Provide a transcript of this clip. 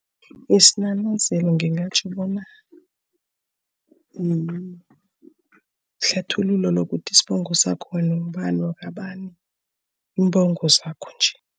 Isinanazelo ngingatjho bona yihlathululo yokuthi isibongo sakho wena ungubani wakwabani, iimbongo zakho nje.